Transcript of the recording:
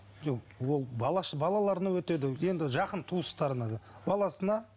жоқ ол балаларына өтеді енді жақын туыстарына да баласына